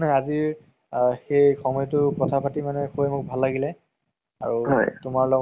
মানে অল আজি boring লাগি আছিলে মানে লগত তো আগতে গলে ন তʼ সেই টো কাৰণে গলো আৰু cinema খন চাই আহলো। ভাল লাগিল movies টো।